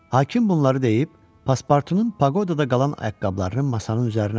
Hakim bunları deyib Paspartunun paqodada qalan ayaqqabılarını masanın üzərinə qoydu.